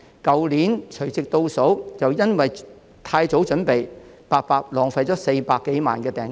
去年的除夕倒數便因為太早準備，結果白白浪費了400多萬元訂金。